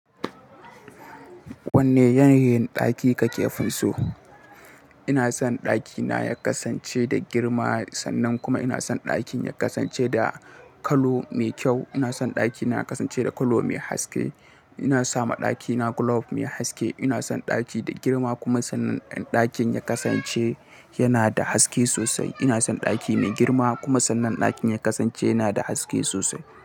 Wanne yanayin ɗaki kake finso? Ina son ɗakina ya kasance da girma sannan kuma ina son ɗakin ya kasance da colour mai kyau. Ina son ɗakina ya kasance da kallo mai haske. Ina so ma ɗakina gulof mai haske. Ina son ɗaki da girma kuma sannan ɗakin ya kasance yana da haske sosai. Ina son ɗaki mai girma kuma sannan ɗakin ya kasance yana da haske sosai.